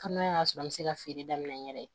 Hali n'a y'a sɔrɔ an bɛ se ka feere daminɛ n yɛrɛ ye